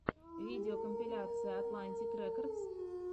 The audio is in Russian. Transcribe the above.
видеокомпиляция атлантик рекордс